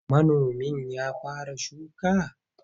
Manomin ya fara shuka?